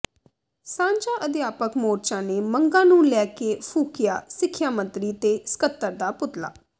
ਸਾਂਝਾ ਅਧਿਆਪਕ ਮੋਰਚਾ ਨੇ ਮੰਗਾਂ ਨੂੰ ਲੈ ਕੇ ਫੂਕਿਆ ਸਿੱਖਿਆ ਮੰਤਰੀ ਤੇ ਸਕੱਤਰ ਦਾ ਪੁਤਲਾ